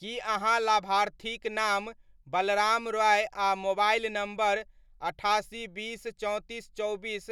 की अहाँ लाभार्थीक नाम बलराम रॉय आ मोबाइल नम्बर अठासी, बीस, चौंतीस, चौबीस,